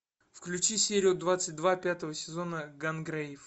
включи серию двадцать два пятого сезона гангрейв